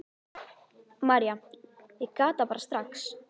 María: Ég gat það bara strax.